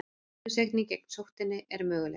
Bólusetning gegn sóttinni er möguleg.